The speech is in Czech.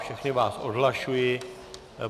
Všechny vás odhlašuji.